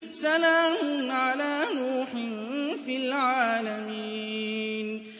سَلَامٌ عَلَىٰ نُوحٍ فِي الْعَالَمِينَ